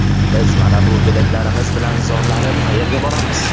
Biz mana bu go‘daklarimiz bilan zorlanib qayerga boramiz.